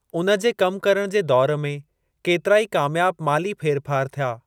उन जे कम करण जे दौर में केतिरा ई कामयाब माली फेरफार थिया।